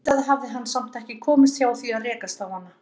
Auðvitað hafði hann samt ekki komist hjá því að rekast á hana.